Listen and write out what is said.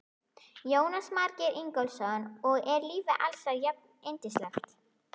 Jónas Margeir Ingólfsson: Og er lífið alls staðar jafnyndislegt?